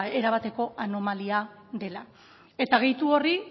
erabateko anomalia dela eta gehitu horri